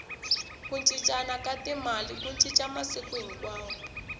ku cincana ka timali ku cinca masiku hinkwawo